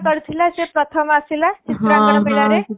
କରିଥିଲା ସେ ପ୍ରଥମ ଆସିଲା ଚିତ୍ରାଙ୍କନ ଆଡ଼େ